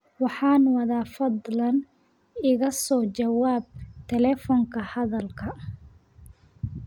Waxaan wadaa fadlan iga soo jawaab telifoonka hadalka